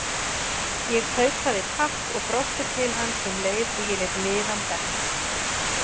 Ég tautaði takk og brosti til hans um leið og ég lét miðann detta.